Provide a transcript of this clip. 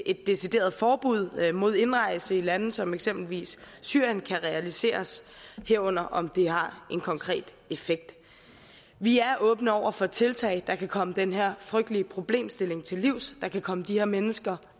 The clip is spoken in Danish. et decideret forbud mod indrejse i lande som eksempelvis syrien kan realiseres herunder om det har en konkret effekt vi er åbne over for tiltag der kan komme den her frygtelige problemstilling til livs der kan komme de her mennesker